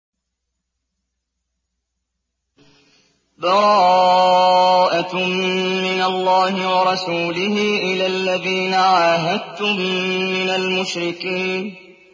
بَرَاءَةٌ مِّنَ اللَّهِ وَرَسُولِهِ إِلَى الَّذِينَ عَاهَدتُّم مِّنَ الْمُشْرِكِينَ